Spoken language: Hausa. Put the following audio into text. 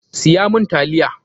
Siya mun taliya!